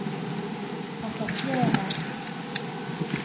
passasjerer